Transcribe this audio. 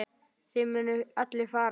Þið munuð allir farast.